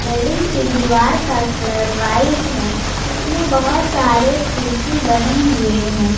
Building की दीवार का कलर व्हाइट है इसमें बहुत सारे खिड़की बने हुए हैं।